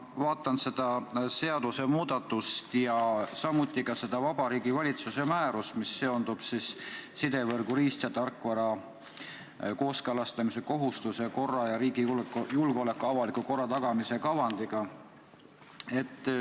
Ma vaatan seda seadusemuudatust ja samuti seda Vabariigi Valitsuse määrust, mis seondub sidevõrgu riist- ja tarkvara kooskõlastamise kohustuse korra ning riigi julgeoleku avaliku korra tagamise kavandiga.